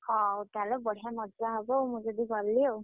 ହଉ ତାହେଲେ ବଢିଆ ମଜା ହବ ଆଉ ମୁଁ ଯଦି ଗଲି ଆଉ।